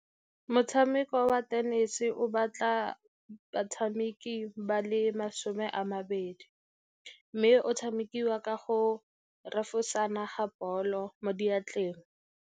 Motshameko wa tenese o batla batshameki ba le masome a mabedi, mme o tshamekiwa ka go refosana ga ball-o mo diatleng.